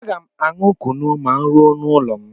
Aga m aṅụ kunu ma m ruo n'ụlọ m.